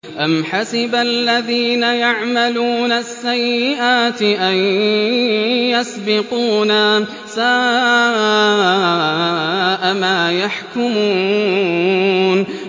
أَمْ حَسِبَ الَّذِينَ يَعْمَلُونَ السَّيِّئَاتِ أَن يَسْبِقُونَا ۚ سَاءَ مَا يَحْكُمُونَ